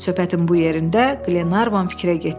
Söhbətin bu yerində Glenarvan fikrə getdi.